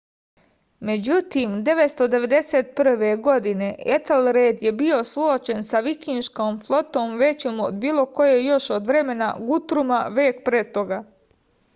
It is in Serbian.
međutim 991. godine etelred je bio suočen sa vikinškom flotom većom od bilo koje još od vremena gutruma vek pre toga